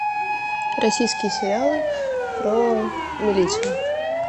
российские сериалы про милицию